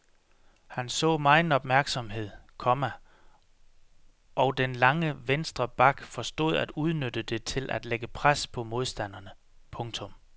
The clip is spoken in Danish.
Han så megen opmærksomhed, komma og den lange venstre back forstod at udnytte det til at lægge pres på modstanderne. punktum